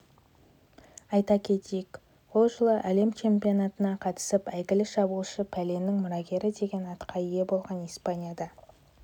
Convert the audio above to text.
айта кетейік ол жылы әлем чемпионатына қатысып әйгілі шабуылшы пеленің мұрагері деген атқа ие болған испанияда